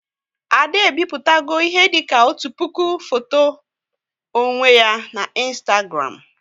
Ada e bipụtago ihe dịka otu puku foto onwe ya na Ịnstagram